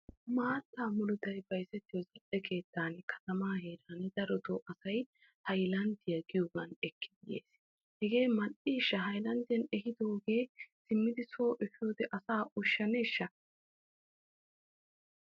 Maatta murutay bayzzettiyo keettan katamaa heeraa darotoo asay haylanddiya giyoogan ekkidi yees, hegee mal''ishsha! haylanddiyan efidooge simmidi so efiyoode asaa ushshaneshsha.